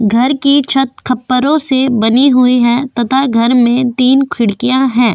घर की छत खप्परों से बनी हुई है तथा घर में तीन खिड़कियाँ है।